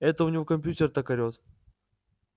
это у него компьютер так орет